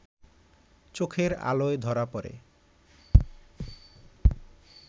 চোখের আলোয় ধরা পড়ে